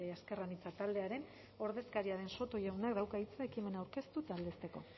ezker anitza taldearen ordezkaria den soto jaunak dauka hitza ekima aurkeztu eta aldezteko